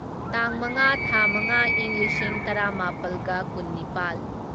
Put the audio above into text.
ꯇꯥꯡ ꯃꯉꯥ ꯊꯥ ꯃꯉꯥ ꯢꯪ ꯂꯤꯁꯤꯡ ꯇꯔꯥꯃꯥꯄꯜꯒ ꯀꯨꯟꯅꯤꯄꯥꯜ